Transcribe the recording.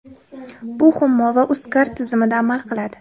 Bu Humo va UzCard tizimida amal qiladi.